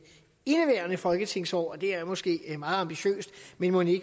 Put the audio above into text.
indeværende folketingsår det er måske meget ambitiøst men mon